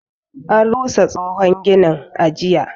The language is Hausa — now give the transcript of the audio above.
An rusa tsohon ginin, a jiya.